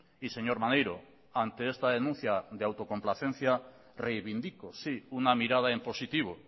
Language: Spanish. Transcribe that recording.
y señor maneiro ante esta denuncia de autocomplacencia reivindico sí una mirada en positivo